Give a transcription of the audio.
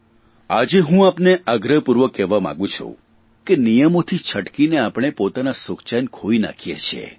આજે હું આપને આગ્રહપૂર્વક કહેવા માંગુ છું કે નિયમોથી છટકીને આપણે પોતાના સુખચેન ખોઇ નાખીએ છીએ